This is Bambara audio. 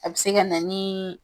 A be se ka na ni